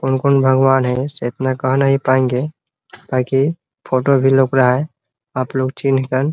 कौन कौन भगवान है से इतना कह नही पाएंगे काहे कि फोटो भी लोक रहा है आपलोग चिन्ह कर --